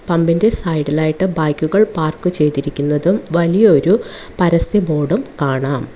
പമ്പിന്റെ side ലായിട്ട് ബൈക്കുകൾ park ചെയ്തിരിക്കുന്നതും വലിയൊരു പരസ്യ ബോർഡും കാണാം.